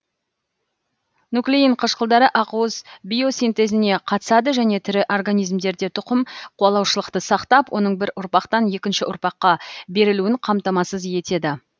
нуклеин қышқылдары ақуыз биосинтезіне қатысады және тірі организмдерде тұқым қуалаушылықты сақтап оның бір ұрпақтан екінші ұрпаққа берілуін қамтамасыз етеді